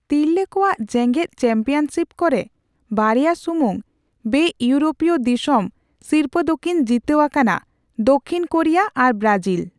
ᱛᱤᱨᱞᱟᱹ ᱠᱚᱣᱟᱜ ᱡᱮᱜᱮᱫ ᱪᱟᱢᱯᱤᱭᱟᱱᱥᱤᱯ ᱠᱚᱨᱮ, ᱵᱟᱨᱭᱟ ᱥᱩᱢᱩᱝ ᱵᱮᱼᱤᱭᱩᱨᱳᱯᱤᱭᱚ ᱫᱤᱥᱚᱢ ᱥᱤᱨᱯᱟᱹ ᱫᱚᱠᱤᱱ ᱡᱤᱛᱟᱹᱣ ᱟᱠᱟᱱᱟᱺ ᱫᱟᱹᱠᱷᱤᱱ ᱠᱳᱨᱤᱭᱟ ᱟᱨ ᱵᱨᱟᱡᱤᱞ ᱾